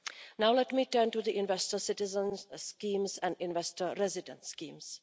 Now let me turn to the investor citizens schemes and investor resident schemes.